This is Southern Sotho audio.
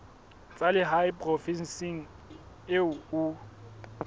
tsa lehae provinseng eo o